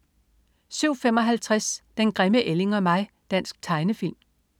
07.55 Den grimme ælling og mig. Dansk tegnefilm